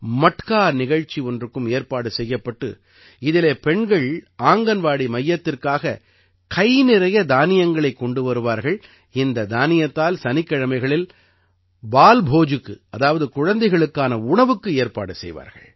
மட்கா நிகழ்ச்சி ஒன்றுக்கும் ஏற்பாடு செய்யப்பட்டு இதிலே பெண்கள் ஆங்கன்வாடி மையத்திற்காக கை நிறைய தானியங்களைக் கொண்டு வருவார்கள் இந்த தானியத்தால் சனிக்கிழமைகளில் பால்போஜுக்கு அதாவது குழந்தைகளுக்கான உணவுக்கு ஏற்பாடு செய்வார்கள்